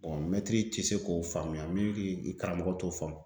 mɛtiri tɛ se k'o faamuya min karamɔgɔ t'o faamu